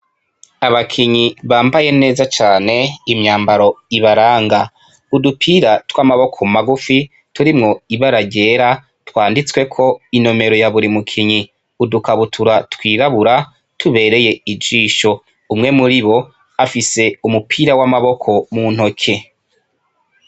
Abakinyi bambaye neza cane imyambaro ibaranga, udupira tw'amaboko magufi turimwo ibara ryera twanditsweko inomero ya buri mukinyi, udukabutura twirabura tubereye ijisho umwe muribo afise umupira w'amaboko mu ntoke.